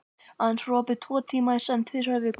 Aðeins var opið tvo tíma í senn tvisvar í viku.